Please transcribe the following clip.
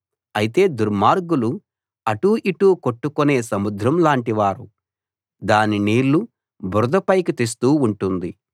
అయితే దుర్మార్గులు అటూ ఇటూ కొట్టుకునే సముద్రం లాంటి వారు దాని నీళ్ళు బురద పైకి తెస్తూ ఉంటుంది